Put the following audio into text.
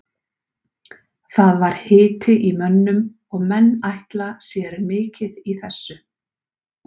Það var hiti í mönnum og menn ætla sér mikið í þessu.